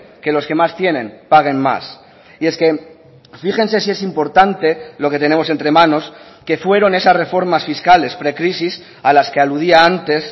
que los que más tienen paguen más y es que fíjense si es importante lo que tenemos entre manos que fueron esas reformas fiscales precrisis a las que aludía antes